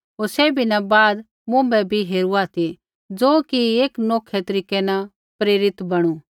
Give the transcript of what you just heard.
होर सैभी न बाद मुँभै भी हेरुआ ती ज़ो कि एक नौखै तरीकै न प्रेरित बणु